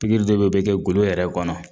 Pikiri dɔ be o be kɛ golo yɛrɛ kɔnɔ